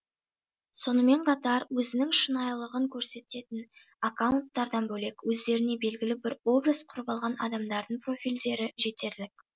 сонымен қатар өзінің шынайылығын көрсететін аккаунтардан бөлек өздеріне белгілі бір образ құрып алған адамдардың профильдері жетерлік